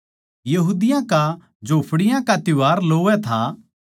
यहूदियाँ का झोपड़ियों का त्यौहार लोवै था